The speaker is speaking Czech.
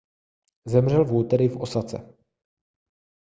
zemřel v úterý v osace